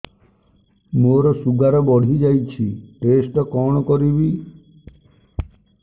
ମୋର ଶୁଗାର ବଢିଯାଇଛି ଟେଷ୍ଟ କଣ କରିବି